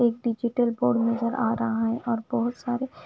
एक digital phone नज़र आरहा है और बहुत सारे--